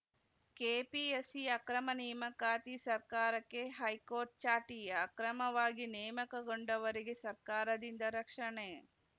KPSC ಅಕ್ರಮ ನೇಮಕಾತಿ ಸರ್ಕಾರಕ್ಕೆ ಹೈಕೋರ್ಟ್‌ ಚಾಟಿ ಅಕ್ರಮವಾಗಿ ನೇಮಕಗೊಂಡವರಿಗೆ ಸರ್ಕಾರದಿಂದ ರಕ್ಷಣೆ